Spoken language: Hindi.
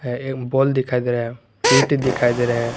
एक बल दिखाई दे रहा है ईंट दिखाई दे रहे हैं।